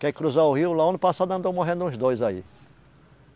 Quer cruzar o rio, lá o ano passado andou morrendo uns dois aí.